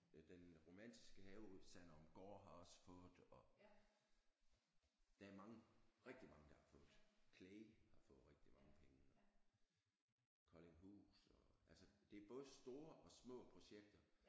Den Romantiske Have ved Sanderumgaard har også fået og der er mange rigtig mange der har fået Clay har fået rigtig mange penge og Koldinghus og altså det er både store og små projekter